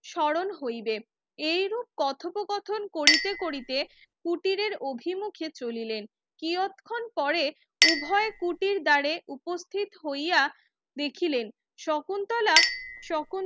স্মরণ হইবে এইরূপ কথোপ কথন করিতে করিতে কুটিরের অভিমুখে চলিলেন কিয়ৎক্ষণ পরে উভয় কুটির দ্বারে উপস্থিত হইয়া দেখিলেন শকুন্তলা শকুন